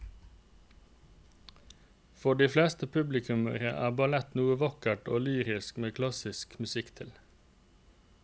For de fleste publikummere er ballett noe vakkert og lyrisk med klassisk musikk til.